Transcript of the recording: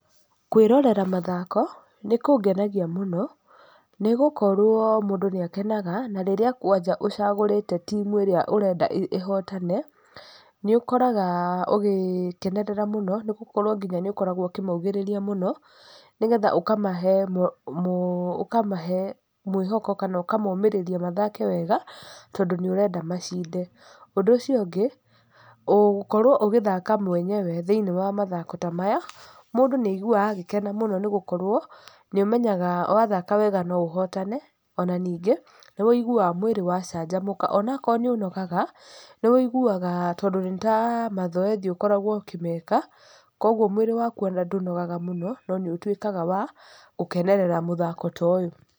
Kwĩrorera mathako nĩ kũngenagia mũno nĩ gũkorwo mũndũ nĩ akenaga na rĩrĩa kwanja ũcagũrĩte timu ĩrĩa ũrenda ĩhotane, nĩ ũkoraga ũgĩkera mũno nĩ gũkorwo nginya nĩ ũkoragwo ũkĩmaugĩrĩria mũno, nĩ getha ũkamahe, ũkamahe mwĩhoko kana ũkamomĩrĩria mathake wega, tondũ nĩ ũrenda macinde. Ũndũ ũcio ũngĩ, gũkorwo ũgĩthaka mwenyewe thĩiniĩ wa mathako ta maya mũndũ nĩ aiguaga agĩkena mũno, nĩ gũkorwo nĩ ũmenyaga wathaka wega no ũhotane ona ningĩ nĩ ũiguaga mwĩrĩ wacanjamũka. Ona akorwo nĩ ũnogaga, nĩ ũiguaga, tondũ nĩta mathoethi ũkoragwo ũkĩmeka, koguo ona mwĩrĩ waku ona ndũnogaga mũno no nĩ ũtuĩkaga wa gũkenerera mũthako toyũ.